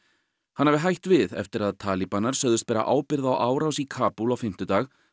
hann hafi hætt við eftir að sögðust bera ábyrgð á árás í Kabúl á fimmtudag